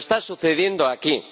Pero está sucediendo aquí.